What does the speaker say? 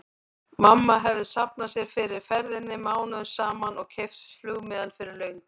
Mamma hefði safnað sér fyrir ferðinni mánuðum saman og keypt flugmiðann fyrir löngu.